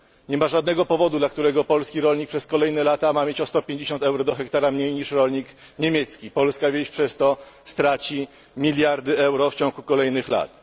Nie ma żadnego powodu, dla którego polski rolnik przez kolejne lata ma mieć o 150 euro do hektara mniej niż rolnik niemiecki. Polska wieś przez to straci miliardy euro w ciągu kolejnych lat.